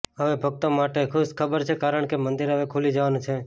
હવે ભક્તો માટે ખુશ ખબર છે કારણકે મંદિર હવે ખુલી જવાનું છે